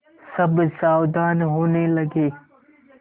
सब सावधान होने लगे